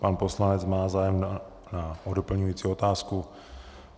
Pan poslanec má zájem o doplňující otázku.